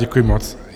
Děkuji moc.